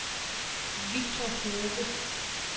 Victor Hove